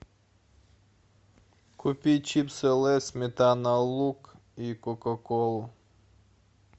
купи чипсы лейс сметана лук и кока колу